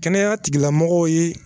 Kɛnɛya tigilamɔgɔw ye